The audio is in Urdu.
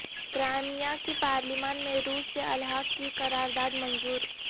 کرائمیا کی پارلیمان میں روس سے الحاق کی قرارداد منظور